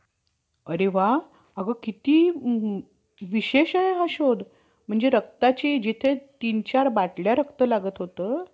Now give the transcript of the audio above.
म्हणजे हल्लीचे हल्लीचे बहुतेक सो~ सोवळे ब्राम्हण रे~ resident governor वैगेरे कामगाराची,